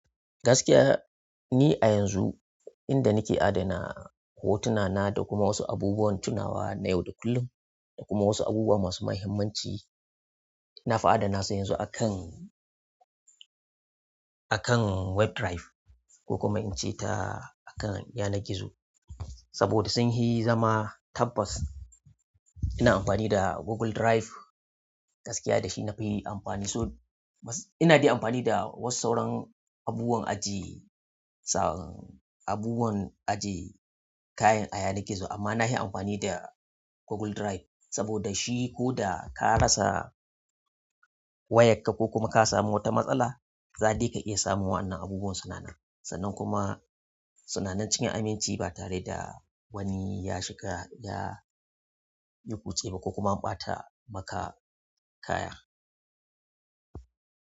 Gaskiya ni a yanzu inda nake adana hotuna na da kuma wasu abubuwan tunawa na yau da kullum da kuma wasu abubuwa masu muhimmanci, na fi adana su yanzu akan, akan web drive ko kuma in ce ta akan yanar gizo. Saboda sun fi zama tabbas ina amfani da Google Drive gaskiya da shi nafi amfani. So ina dai amfani da wasu sauran abubuwan ajiye abubuwan aje kayan a yanar gizo amma na fi amfani da Google Drive saboda shi ko da ka rasa wayarka ko kuma ka samu wata matsala, zai dai ka iya samun wannan abubuwan suna nan. Sannan kuma sananan cikin aminci ba tare da wani ya shiga ya yi kutse ba ko kuma an ɓata maka kaya.